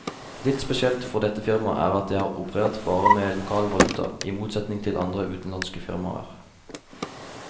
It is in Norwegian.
Litt spesielt for dette firmaet er at det har operert bare med lokal valuta, i motsetning til andre utenlandske firmaer.